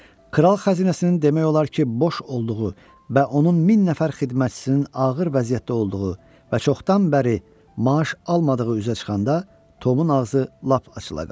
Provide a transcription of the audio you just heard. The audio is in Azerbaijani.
Kral xəzinəsinin demək olar ki, boş olduğu və onun min nəfər xidmətçisinin ağır vəziyyətdə olduğu və çoxdan bəri maaş almadığı üzə çıxanda Tomun ağzı lap açıla qaldı.